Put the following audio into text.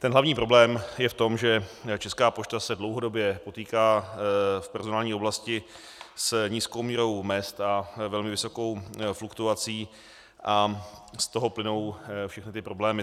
Ten hlavní problém je v tom, že Česká pošta se dlouhodobě potýká v personální oblasti s nízkou mírou mezd a velmi vysokou fluktuací, a z toho plynou všechny ty problémy.